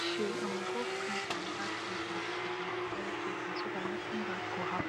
she um go print another paper for the fuel paper so that nothing bad go happen